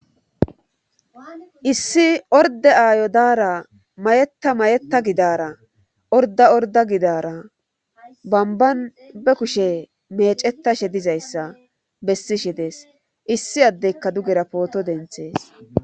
issi orda aayo daara mayeta mayeta gidara orda orda gidara bamban be kushe meecetashe dizayssa bessishe dees issi addeykka dugera pooto denthees